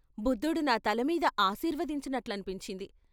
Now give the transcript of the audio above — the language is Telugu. బుద్ధుడు నా తలమీద ఆశీర్వదించినట్లనిపించింది.